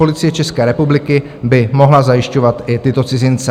Policie České republiky by mohla zajišťovat i tyto cizince.